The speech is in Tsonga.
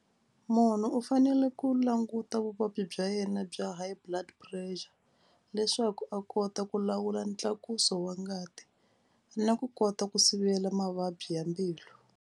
Munhu u fanele ku languta vuvabyi bya yena bya high blood pressure leswaku a kota ku lawula ntlakuso wa ngati na ku kota ku sivela mavabyi ya mbilu.